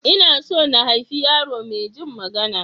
Ina so na haifi yaro maijin magana.